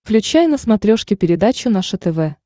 включай на смотрешке передачу наше тв